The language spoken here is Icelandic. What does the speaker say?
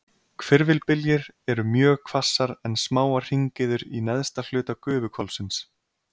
Hvirfilbyljir eru mjög hvassar en smáar hringiður í neðsta hluta gufuhvolfsins.